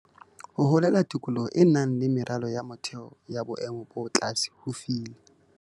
Ho holela tikolohong e nang le meralo ya motheo ya boemo bo tlase ho file.